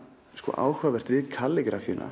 áhugavert við